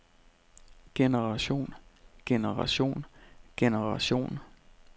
generation generation generation